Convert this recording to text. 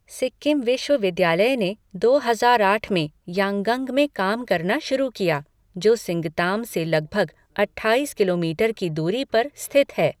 सिक्किम विश्वविद्यालय ने दो हजार आठ में यांगंग में काम करना शुरू किया, जो सिंगताम से लगभग अट्ठाईस किलोमीटर की दूरी पर स्थित है।